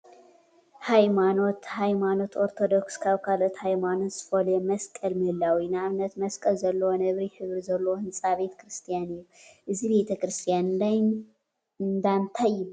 ሃይማኖት ሃይማኖት ኦርቶዶክስ ካብ ካልኦት ሃይማኖት ዝፈልዮ መስቀል ምህላው እዩ፡፡ ንአብነት መስቀል ዘለዎን ነብሪ ሕብሪ ዘለዎ ህንፃ ቤተ ክርስትያን እዩ፡፡ እዚ ቤተ ክርስትያን እንዳ እንታይ ይበሃል?